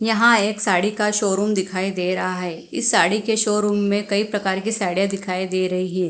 यहां एक साड़ी का शोरूम दिखाई दे रहा है इस साड़ी के शोरूम में कई प्रकार की साड़ियां दिखाई दे रही हे।